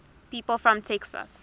people from texas